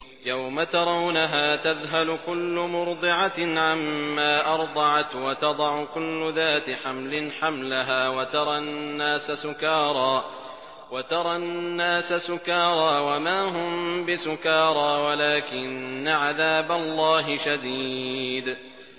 يَوْمَ تَرَوْنَهَا تَذْهَلُ كُلُّ مُرْضِعَةٍ عَمَّا أَرْضَعَتْ وَتَضَعُ كُلُّ ذَاتِ حَمْلٍ حَمْلَهَا وَتَرَى النَّاسَ سُكَارَىٰ وَمَا هُم بِسُكَارَىٰ وَلَٰكِنَّ عَذَابَ اللَّهِ شَدِيدٌ